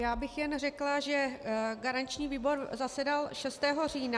Já bych jen řekla, že garanční výbor zasedal 6. října.